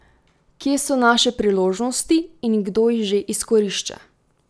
Kje so naše priložnosti in kdo jih že izkorišča?